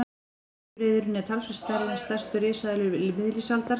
Steypireyðurin er talsvert stærri en stærstu risaeðlur miðlífsaldar.